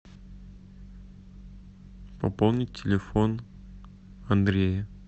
пополнить телефон андрея